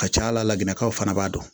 Ka ca ala la ginɛdekaw fana b'a dɔn